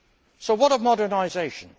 So what of modernisation?